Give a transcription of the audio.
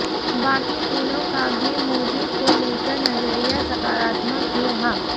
बाकी तीनों का भी मोदी को लेकर नजरिया सकारात्मक ही रहा